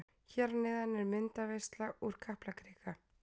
Hér að neðan er myndaveisla úr Kaplakrika.